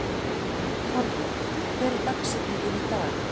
Torbjörg, hver er dagsetningin í dag?